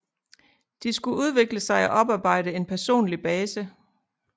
De skulle udvikle sig og oparbejde en personlig base